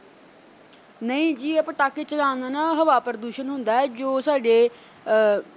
ਨਹੀਂ ਜੀ ਇਹ ਪਟਾਕੇ ਚਲਾਣ ਨਾਲ ਨਾ ਹਵਾ ਪ੍ਰਦੂਸ਼ਿਤ ਹੁੰਦੈ ਜੋ ਸਾਡੇ ਅਹ